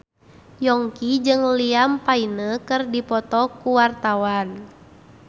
Yongki jeung Liam Payne keur dipoto ku wartawan